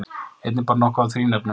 Einnig bar nokkuð á þrínefnum.